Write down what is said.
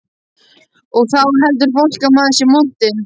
Og þá heldur fólk að maður sé montinn.